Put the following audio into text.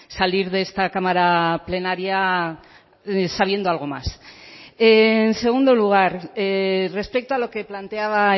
salir de esta cámara plenaria sabiendo algo más en segundo lugar respecto a lo que planteaba